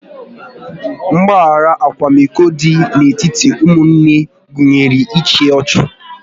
Mgbahara akwamiko dị n'etiti ụmụnne gụnyere ịchụ ọchụ